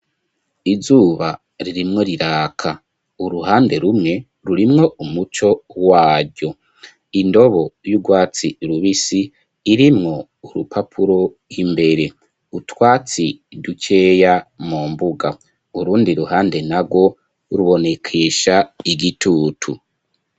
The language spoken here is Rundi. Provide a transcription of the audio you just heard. Izuba, ririmwo riraka; uruhande rumwe, rurimwo umuco waryo; indobo y'urwatsi rubisi, irimwo urupapuro imbere; utwatsi dukeya mu mbuga; urundi ruhande narwo, rubonekesha igitutu.